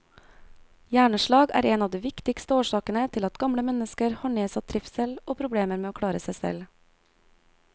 Hjerneslag er en av de viktigste årsakene til at gamle mennesker har nedsatt trivsel og problemer med å klare seg selv.